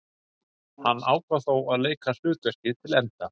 Hann ákvað þó að leika hlutverkið til enda.